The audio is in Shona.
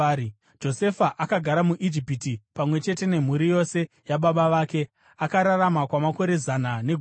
Josefa akagara muIjipiti pamwe chete nemhuri yose yababa vake. Akararama kwamakore zana negumi,